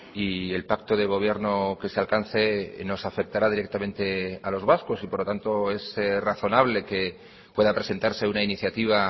y el pacto de gobierno que se alcance nos afectará directamente a los vascos y por lo tanto es razonable que pueda presentarse una iniciativa